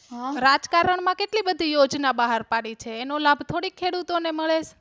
રાજકારણ કેટલી બધી યોજના બહાર પડી છે એનો લાભ થોડી ખેડૂતો મળે છે